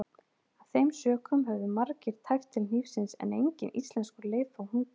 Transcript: Af þeim sökum höfðu margir tæpt til hnífsins en enginn íslenskur leið þó hungur.